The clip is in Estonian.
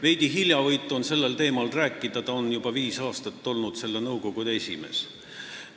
Veidi hiljavõitu on sellel teemal rääkida – ta on juba viis aastat olnud selle nõukogu esimees.